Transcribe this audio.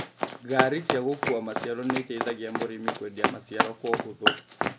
Gari cia gũkua maciaro nĩiteithagia mũrimi kwendia maciaro kwa ũhũthũ